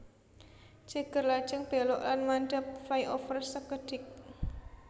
Ceger lajeng belok lan mandhap flyover sekedhik